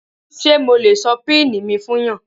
Ṣé mo lè sọ pini mi fún yàn?